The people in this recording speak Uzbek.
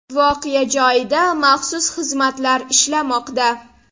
Voqea joyida maxsus xizmatlar ishlamoqda.